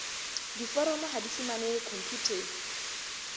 diforomo ha di fumanehe khomputeng